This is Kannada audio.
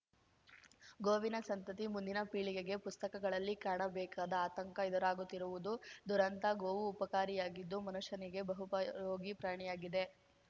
ಗೋವಿನ ಸಂತತಿ ಮುಂದಿನ ಪೀಳಿಗೆಗೆ ಪುಸ್ತಕಗಳಲ್ಲಿ ಕಾಣಬೇಕಾದ ಆತಂಕ ಎದುರಾಗುತ್ತಿರುವುದು ದುರಂತ ಗೋವು ಉಪಕಾರಿಯಾಗಿದ್ದು ಮನುಷ್ಯನಿಗೆ ಬಹುಪಯೋಗಿ ಪ್ರಾಣಿಯಾಗಿದೆ